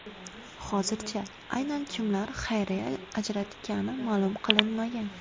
Hozircha aynan kimlar xayriya ajratgani ma’lum qilinmagan.